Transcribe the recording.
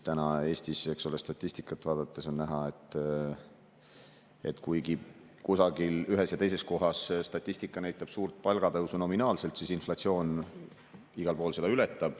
Eestis statistikat vaadates on näha, et kuigi kusagil, ühes ja teises kohas statistika näitab suurt nominaalset palgatõusu, siis inflatsioon seda igal pool ületab.